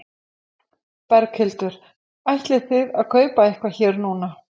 Berghildur: Ætlið þið að kaupa eitthvað hér núna?